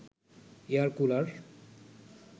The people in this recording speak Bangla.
air cooler